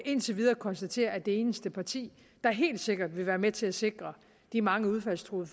indtil videre konstatere at det eneste parti der helt sikkert vil være med til at sikre de mange udfaldstruede